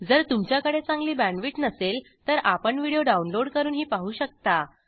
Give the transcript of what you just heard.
जर तुमच्याकडे चांगली बॅण्डविड्थ नसेल तर आपण व्हिडिओ डाउनलोड करूनही पाहू शकता